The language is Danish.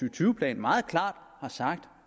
og tyve plan meget klart har sagt